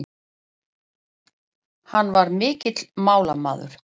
Hann var mikill málamaður.